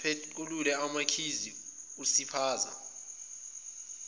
apequlule amakhikhi usiphaza